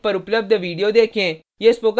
निम्न link पर उपलब्ध video देखें